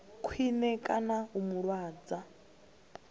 khwine kana u mu lwadza